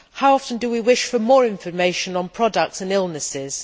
How often do we wish for more information on products and illnesses?